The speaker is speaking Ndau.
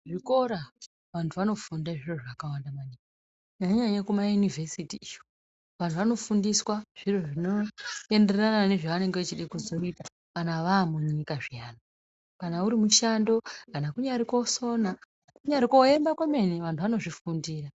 Kuzvikora vantu vanofunda zviro zvakawanda maningi kunyanya-nyanya kumayunivhesiti iyo. Vantu vanofundiswa zviro zvinoenderana nezvavanenge vachide kuzoita kana vamunyika zviyani. Kana uri mushando kana kunyari kosona kunyari koemba kwemene vantu vanozvifundira.